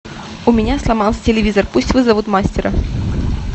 у меня сломался телевизор пусть вызовут мастера